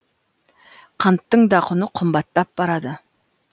қанттың да құны қымбаттап барады